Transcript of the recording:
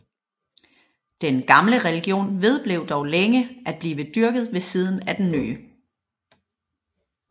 Den gamle religion vedblev dog længe at blive dyrket ved siden af den nye